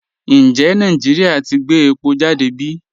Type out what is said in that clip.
Ǹjẹ̀ Nàìjíríà ti gbẹ̀ èpò jàdé bí?